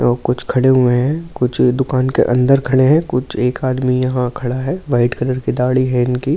तो कुछ खड़े हुए हैं कुछ दुकान के अंदर खड़े हैं कुछ एक आदमी यहां खड़ा है वाइट कलर की दाढ़ी है इनके --